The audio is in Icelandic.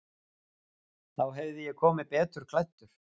Þá hefði ég komið betur klæddur.